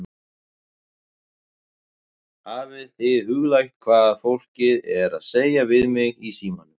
Hafið þið hugleitt hvað fólkið er að segja við mig í símann?